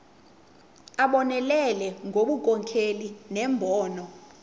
abonelele ngobunkokheli nembono